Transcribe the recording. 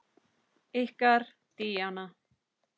Ykkar Díana.